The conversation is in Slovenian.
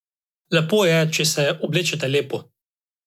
Lepo je, če se oblečete lepo.